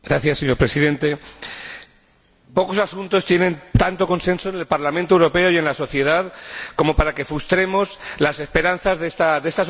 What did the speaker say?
Pocos asuntos tienen tanto consenso en el Parlamento Europeo y en la sociedad como para que frustremos las esperanzas de esta sociedad que nos apoya, que confiaba en Copenhague.